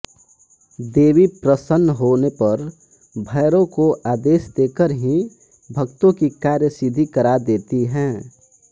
देवी प्रसन्न होने पर भैरव को आदेश देकर ही भक्तों की कार्यसिद्धि करा देती हैं